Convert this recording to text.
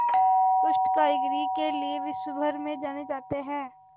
उत्कृष्ट कारीगरी के लिये विश्वभर में जाने जाते हैं